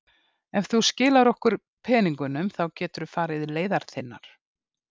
Ef þú skilar okkur peningunum þá geturðu farið leiðar þinnar.